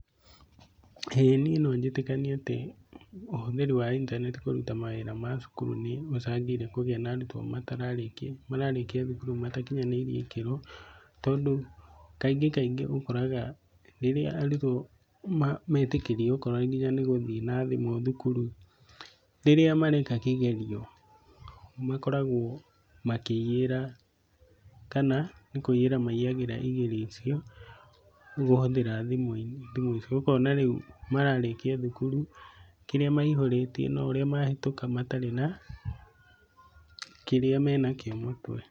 ĩĩ niĩ no njĩtĩkanie atĩ ũhũthĩri wa intaneti kũruta mawĩra macukuru nĩ gũcangĩire kũgĩa na arutwo mararĩkia thukuru matakinyanĩirie ikĩro. Tondũ kaingĩ kaingĩ ũkoraga, rĩrĩa arutwo metikĩrio okorwo nginya nĩ gũthiĩ na thimũ thukuru rĩrĩa mareka kigerio, makoragwo makĩiyĩra, kana ni kũiyĩra maiyagĩra igerio icio. Kũhuthĩra thimũ icio, ũkona rĩu mararĩkia thukuru, kĩrĩa maihũrĩtie na ũrĩa mahĩtũka matarĩ na kĩrĩa menakĩo mũtwe